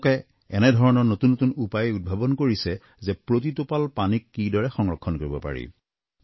তেওঁলোকে এনেধৰণৰ নতুন নতুন উপায় উদ্ভাৱন কৰিছে যে প্ৰতি টোপাল পানীক কিদৰে সংৰক্ষণ কৰিব পাৰি